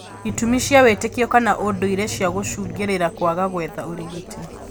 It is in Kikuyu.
Itũmi cia wĩtĩkio kana ũndũire cia gũcũngĩrĩria kwaga gwetha ũrigiti